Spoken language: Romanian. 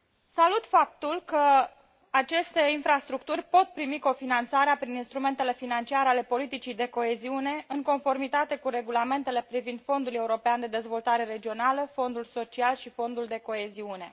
Salut faptul că aceste infrastructuri pot primi cofinanțare prin instrumentele financiare ale politicii de coeziune, în conformitate cu regulamentele privind Fondul european de dezvoltare regională, Fondul social și Fondul de coeziune.